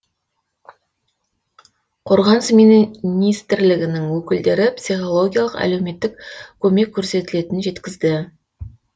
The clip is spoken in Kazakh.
қорғаныс министрлігінің өкілдері психологиялық әлеуметтік көмек көрсетілетінін жеткізді